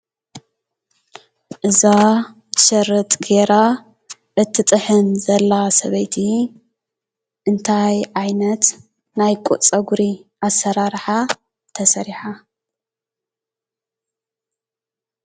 እዛ ሽርጥ ገይራ እትጥሕን ዘላ ሰበይቲ እንታይ ዓይነት ናይ ፀጉሪ ኣሰራርሓ ተሰሪሓ?